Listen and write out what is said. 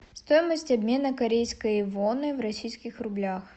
стоимость обмена корейской воны в российских рублях